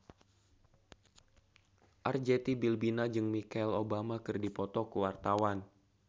Arzetti Bilbina jeung Michelle Obama keur dipoto ku wartawan